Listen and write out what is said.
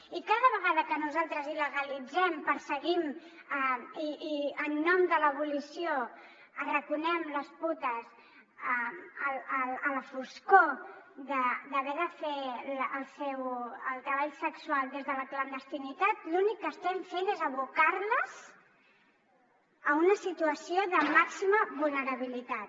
i cada vegada que nosaltres il·legalitzem perseguim i en nom de l’abolició arraconem les putes a la foscor d’haver de fer el treball sexual des de la clandestinitat l’únic que estem fent és abocar les a una situació de màxima vulnerabilitat